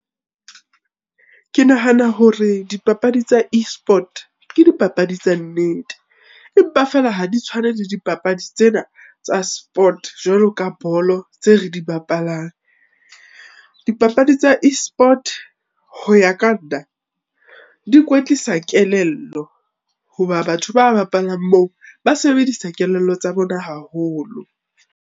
Ke nahana hore dipapadi tsa e-sport ke dipapadi tsa nnete. Empa feela ha di tshwane le dipapadi tsena tsa sport jwalo ka bolo tse re di bapalang. Dipapadi tsa e-sport, ho ya ka nna di kwetlisa kelello. Hoba batho ba bapalang moo ba sebedisa kelello tsa bona haholo.